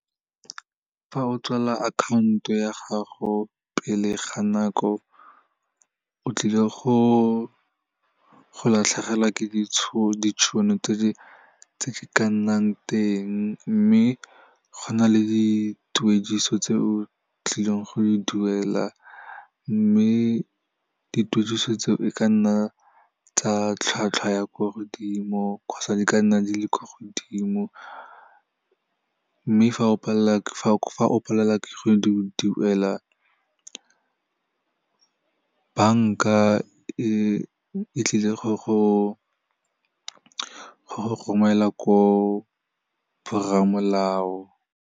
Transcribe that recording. Fa o tswalela akhanto ya gago pele ga nako, o tlile go latlhegelwa ke ditšhono tse di ka nnang teng, mme go na le dituediso tse o tlileng go di duela, mme dituediso tseo e ka nna tsa tlhwatlhwa ya kwa godimo kgotsa di ka nna di le kwa godimo, mme fa o palelwa ke go di duela, banka e tlile go go romela ko borramolao.